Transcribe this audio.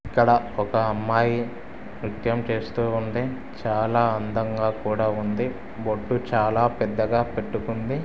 ఇక్కడ ఒక అమ్మాయి నృత్యం చేస్తూ ఉంది చాలా అందంగా కూడా ఉంది బొట్టు చాలా పెద్దగా పెట్టుకుంది.